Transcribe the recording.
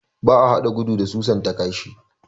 Ba a hada gudu da susan ta kashi